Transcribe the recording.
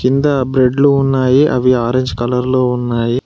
కింద బ్రేడ్లు ఉన్నయి అవి ఆరెంజ్ కలర్లో ఉన్నాయి.